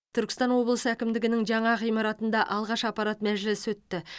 түркістан облысы әкімдігінің жаңа ғимаратында алғаш аппарат мәжілісі өтті